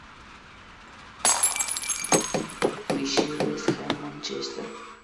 поищи вест хэм манчестер